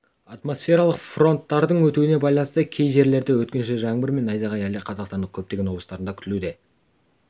атмосфералық фронттардың өтуіне байланысты кей жерлерде өткінші жаңбыр мен найзағай әлі де қазақстанның көптеген облыстарында күтілуде